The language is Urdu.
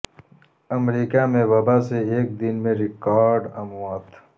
امریکہ میں وبا سے ایک دن میں ریکارڈ اموات